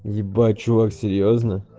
ебать чувак серьёзно